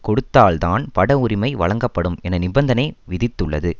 கொடுத்தால்தான் பட உரிமை வழங்கப்படும் என நிபந்தனை விதித்துள்ளது